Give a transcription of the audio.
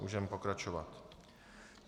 Můžeme pokračovat.